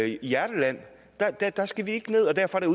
hjerteland der skal vi ikke ned og derfor er